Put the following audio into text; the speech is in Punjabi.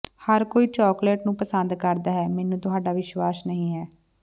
ਹਰ ਕੋਈ ਚਾਕਲੇਟ ਨੂੰ ਪਸੰਦ ਕਰਦਾ ਹੈ ਮੈਨੂੰ ਤੁਹਾਡਾ ਵਿਸ਼ਵਾਸ ਨਹੀਂ ਹੈ